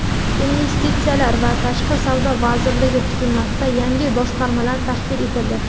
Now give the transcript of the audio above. Investitsiyalar va tashqi savdo vazirligi tuzilmasida yangi boshqarmalar tashkil etildi.